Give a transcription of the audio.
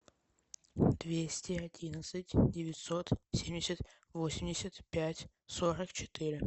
двести одиннадцать девятьсот семьдесят восемьдесят пять сорок четыре